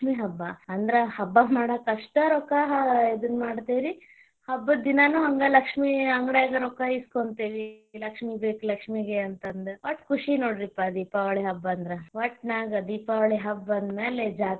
ಲಕ್ಷ್ಮಿ ಹಬ್ಬಾ, ಅಂದ್ರ ಹಬ್ಬಾ ಮಾಡಾಕ ಅಷ್ಟ ರೊಕ್ಕಾ ಇದನ್ನ ಮಾಡ್ತೀವ್ ರಿ, ಹಬ್ಬದ ದಿನಾನು ಹಂಗ ಲಕ್ಷ್ಮಿ ಅಂಗಡ್ಯಾಗನು ರೊಕ್ಕಾ ಇಸ್ಕೊಂತೀವಿ, ಲಕ್ಷ್ಮಿ ಬೇಕ ಲಕ್ಷ್ಮಿಗೆ ಅಂತಂದ, ವಟ್ ಖುಷಿ ನೊಡ್ರಿಪಾ ದೀಪಾವಳಿ ಹಬ್ಬ ಅಂದ್ರ ವಟ್ಟನಾಗ ದೀಪಾವಳಿ ಹಬ್ಬ ಅಂದ ಮ್ಯಾಲೆ.